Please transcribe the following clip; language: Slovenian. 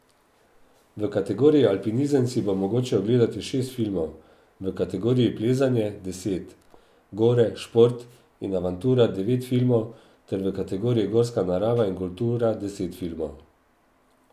V kategoriji Alpinizem si bo mogoče ogledati šest filmov, v kategoriji Plezanje deset, Gore, šport in avantura devet filmov ter v kategoriji Gorska narava in kultura deset filmov.